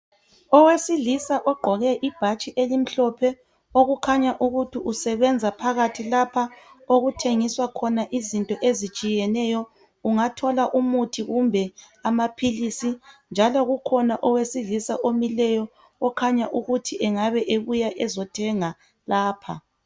Owesilisa ogqoke ibhatshi elimhlophe okukhanya ukuthi usebenza phakathi lapha okuthengiswa khona izinto ezitshiyeneyo ungathola umuthi kumbe amaphilisi njalo kukhona owesilisa omileyo okhanya ukuthi engabe ebuya ezothenga lapha.